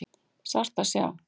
Sárt að sjá